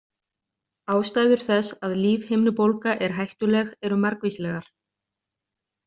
Ástæður þess að lífhimnubólga er hættuleg eru margvíslegar.